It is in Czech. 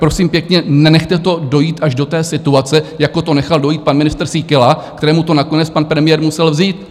Prosím pěkně, nenechte to dojít až do té situace, jako to nechal dojít pan ministr Síkela, kterému to nakonec pan premiér musel vzít.